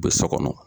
U bɛ so kɔnɔ